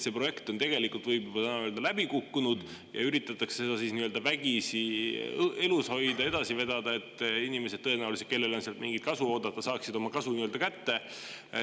See projekt on – võib juba täna öelda – läbi kukkunud, seda üritatakse vägisi elus hoida ja edasi vedada, et inimesed, kellel on tõenäoliselt sealt mingit kasu oodata, saaksid oma kasu kätte.